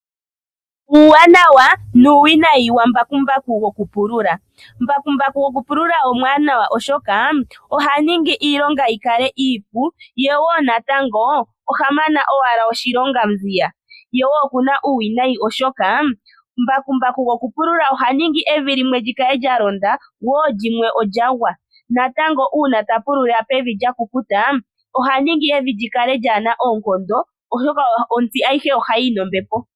Uuwanawa nuuwinayi wambakumbaku gokupulula. Mbakumbaku gokupulula omwaanawa oshoka oha ningi iilonga yikale iipu yewo natango oha mana owala oshilonga nziya. Yewo okuna uuwinayo oshoka mbakumbaku gokupulula oha ningi evi limwe likale lya londa lyimwe olyagwa natango una ta pulula pevi lya kukuta oha ningi evi likale lyaana oonkondo osha otsi ayihe ohayi yi nombepo.